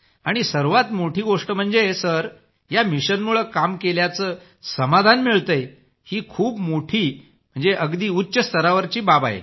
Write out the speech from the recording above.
आणि सर्वात मोठी गोष्ट म्हणजे सर या मिशनमुळं काम केल्याचं समाधान मिळतंय ही खूप मोठी अगदी उच्च स्तरावरची बाब आहे